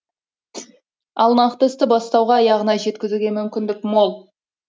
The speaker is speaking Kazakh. ал нақты істі бастауға аяғына жеткізуге мүмкіндік мол